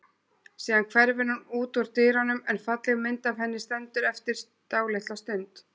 Síðan hverfur hún út úr dyrunum en falleg mynd af henni stendur eftir dálitla stund.